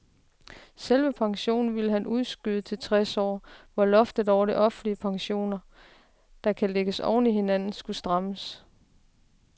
Selve pensionen ville han udskyde til tres år, hvor loftet over offentlige pensioner, der kan lægges oven i hinanden, skulle strammes.